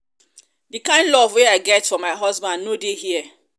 the kin love wey i get for my husband no dey here